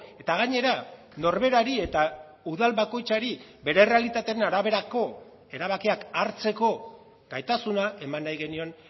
eta gainera norberari eta udal bakoitzari bere errealitateen araberako erabakiak hartzeko gaitasuna eman nahi genion